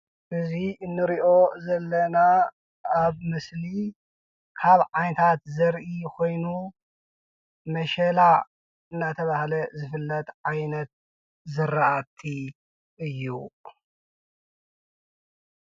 እዚ እንሪኦ ዘለና ኣብ ምስሊ ካብ ዓይነታት ዘርኢ ኮይኑ ምሸላ እንዳተብሃለ ዝፍለጥ ዓይነት ዝራእቲ እዩ።